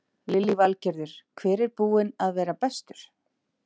Lillý Valgerður: Hver er búinn að vera bestur?